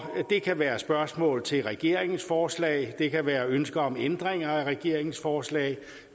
kan være spørgsmål til regeringens forslag det kan være ønsker om ændringer af regeringens forslag